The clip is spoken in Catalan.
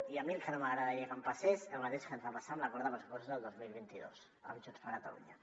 i a mi el que no m’agradaria que em passés és el mateix que ens va passar a l’acord de pressupostos del dos mil vint dos amb junts per catalunya